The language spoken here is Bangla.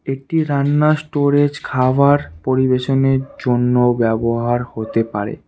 এটি রান্না স্টোরেজ খাবার পরিবেশনের জন্য ব্যবহার হতে পারে।